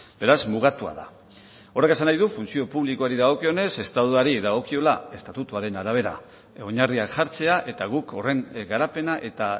beraz mugatua da horrek esan nahi du funtzio publikoari dagokionez estatuari dagokiola estatutuaren arabera oinarriak jartzea eta guk horren garapena eta